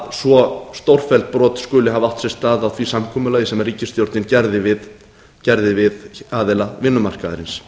svo stórfelld brot skuli hafa átt sér stað á því samkomulagi sem ríkisstjórnin gerði við aðila vinnumarkaðarins